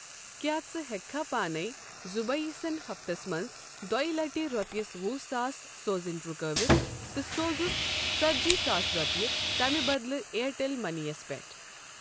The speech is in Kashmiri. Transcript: کیٛاہ ژٕ ہیکِہ کھہ پانٕے زُبیَٖسن ہفتس منٛز دۄیہِ لٹہ رۄپیَس وُہ ساس سوزٕنۍ رُکٲوِتھ تہٕ سوزُس ژتجی ساس رۄپیہِ تمِہ بدلہٕ اِیَرٹیٚل مٔنی یَس پیٹھ؟